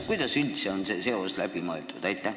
Kuidas üldse on see seos läbi mõeldud?